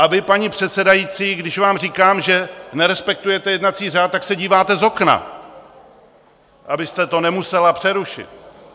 A vy, paní předsedající, když vám říkám, že nerespektujete jednací řád, tak se díváte z okna, abyste to nemusela přerušit.